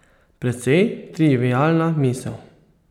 Precej trivialna misel.